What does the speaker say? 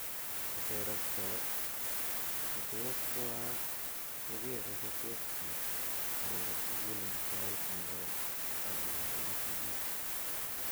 Koter ak cho che tos koak ko kere che tos pit ngeker sukul ing sait nekoi ak uindo ing sigik.